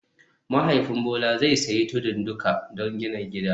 Mahaifin Bola zai sayi tudun duka don gina gida